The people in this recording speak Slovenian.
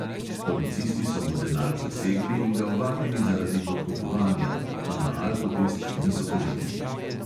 Policisti so mu denar zasegli in ga ovadili zaradi podkupovanja, a na alkotest niso pozabili.